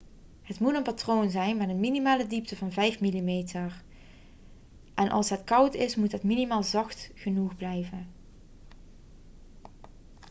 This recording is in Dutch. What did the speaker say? het moet een patroon zijn met een minimale diepte van 5 mm 1/5 inch en als het koud is moet het materiaal zacht genoeg blijven